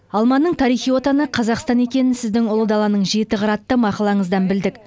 алманың тарихи отаны қазақстан екенін сіздің ұлы даланың жеті қыры атты мақалаңыздан білдік